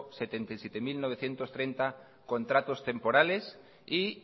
setenta y siete mil novecientos treinta contratos temporales y